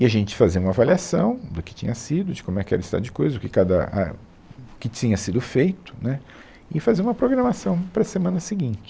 E a gente fazia uma avaliação do que tinha sido, de como é que era o estado de coisas, do que cada á, o que tinha sido feito, né, e fazia uma programação para a semana seguinte.